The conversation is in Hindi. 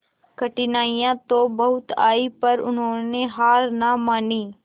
कठिनाइयां तो बहुत आई पर उन्होंने हार ना मानी